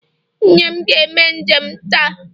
Nne m ga-eme njem taa